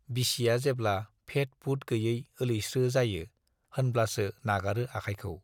बिसिया जेब्ला फेट-फुट गैयै ओलैस्रो जायो - होनब्लासो नागारो आखायखौ।